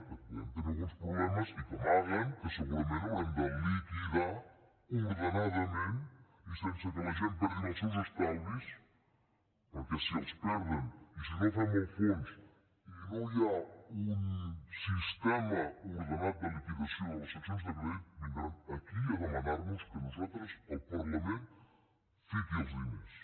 que podem tenir alguns problemes i que amaguen que segurament haurem de liquidar ordenadament i sense que la gent perdi els seus estalvis perquè si els perden i si no fem el fons i no hi ha un sistema ordenat de liquidació de les seccions de crèdit vindran aquí a demanarnos que nosaltres el parlament fiqui els diners